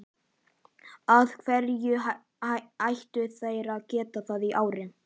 Af hverju ættu þeir að geta það í ár?